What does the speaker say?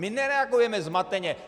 My nereagujeme zmateně.